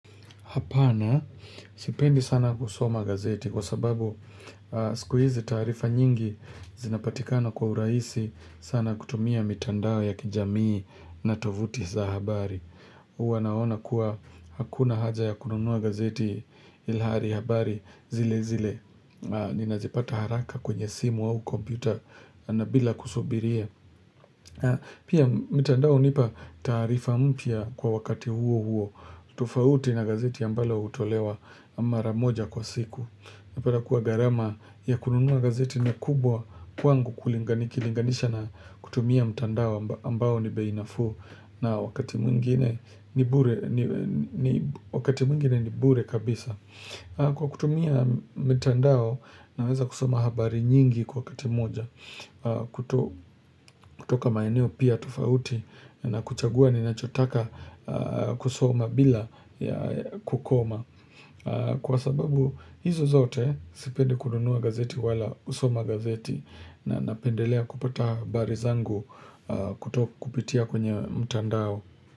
Hapana, sipendi sana kusoma gazeti kwa sababu siku hizi taarifa nyingi zinapatikana kwa urahisi sana kutumia mitandao ya kijamii na tovuti za habari. Huwa naona kuwa hakuna haja ya kununua gazeti ilhali habari zile zile. Ninazipata haraka kwenye simu au kompyuta na bila kusubiria. Pia mitandao hunipa taarifa mpya kwa wakati huo huo. Tofauti na gazeti ambalo hutolewa mara moja kwa siku unapata kuwa gharama ya kununua gazeti na kubwa kwangu kulingani nikilinganisha na kutumia mtandao ambao ni bei nafuu na wakati mwingine ni bure kabisa Kwa kutumia mtandao naweza kusoma habari nyingi kwa wakati moja kutoka maeneo pia tofauti na kuchagua ninachotaka kusoma bila ya kukoma kwa sababu hizo zote sipendi kununua gazeti wala kusoma gazeti na napendelea kupata habari zangu kupitia kwenye mtandao.